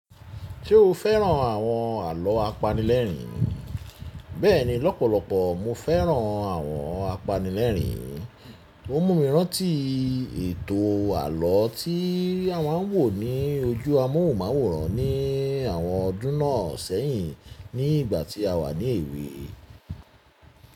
Ṣe o fẹ́ràn àwọn àlọ́ apanilẹ́rin? Bẹ́ẹ̀ni, lọ́pọ̀lọpọ̀ mo fẹ́ràn àwọn apanilẹ́rin. O mumi rántí ètò àlọ́ tí a máa ń wò ní ojú amóhùnmáwòrán ní àwọn ọdún náà sẹ́yìn ní ìgbà tí a wà ní èwe.